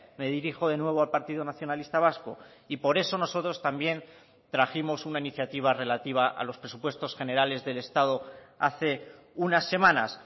me dirijo de nuevo al partido nacionalista vasco y por eso nosotros también trajimos una iniciativa relativa a los presupuestos generales del estado hace unas semanas